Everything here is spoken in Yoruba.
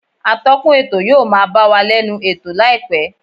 Atọ́kùn ètò yóò máa bá wa lẹ́nu ètò láìpẹ́